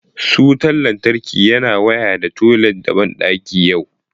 Su wutan lantarki yana waya da toilet da bandaki yau